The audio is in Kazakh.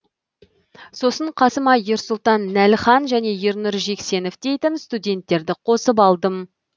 сосын қасыма ерсұлтан нәліхан және ернұр жексенов дейтін студенттерді қосып алдым